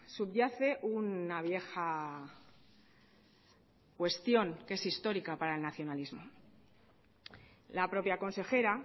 subyace una vieja cuestión que es histórica para el nacionalismo la propia consejera